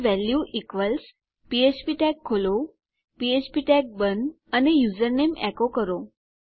તો value equals ફ્ફ્પ tag ખોલો ફ્ફ્પ ટેગ બંધ અને યુઝરનેમ એકો કરો